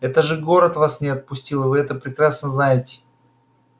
это же город вас не отпустил и вы это прекрасно знаете